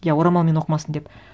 иә орамалмен оқымасын деп